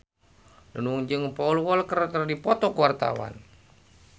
Nunung jeung Paul Walker keur dipoto ku wartawan